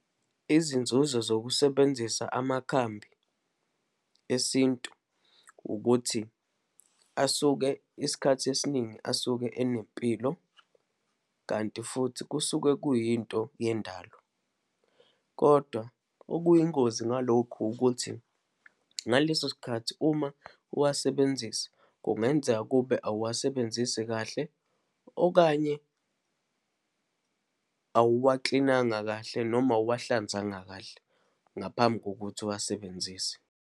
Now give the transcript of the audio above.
Izinzuzo zokusebenzisa amakhambi esintu, ukuthi asuke isikhathi esiningi, asuke enempilo, kanti futhi kusuke kuyinto yendalo. Kodwa okuyingozi ngalokhu ukuthi, ngaleso sikhathi uma uwasebenzisa, kungenzeka kube awuwasebenzisi kahle, okanye awuwaklinanga kahle, noma awuwahlanzanga kahle ngaphambi kokuthi uwasebenzise.